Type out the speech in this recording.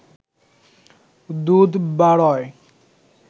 দুধ বারয়